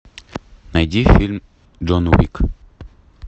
найди фильм джон уик